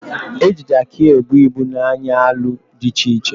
Eji Jaakị ebu ibu na anyị alụ dị iche iche